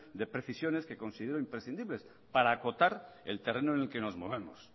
de precisiones que considero imprescindibles para acotar el terreno en el que nos movemos